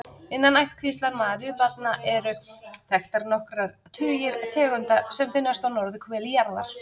Innan ættkvíslar maríubjallna eru þekktar nokkrir tugir tegunda sem finnast á norðurhveli jarðar.